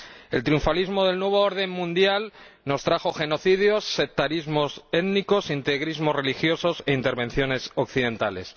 El triunfalismo del nuevo orden mundial nos trajo genocidios, sectarismos étnicos, integrismos religiosos e intervenciones occidentales.